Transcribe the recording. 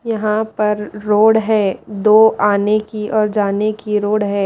यहां पर रोड है दो आने की और जाने की रोड है।